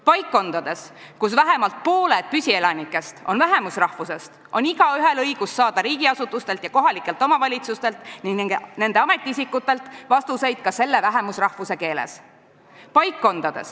Paikkondades, kus vähemalt pooled püsielanikest on vähemusrahvusest, on igaühel õigus saada riigiasutustelt ja kohalikelt omavalitsustelt ning nende ametiisikutelt vastuseid ka selle vähemusrahvuse keeles.